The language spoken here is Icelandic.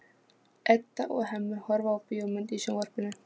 Edda og Hemmi horfa á bíómynd í sjónvarpinu.